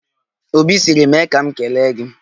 Obi sịrị 'mee ka m kelee gị'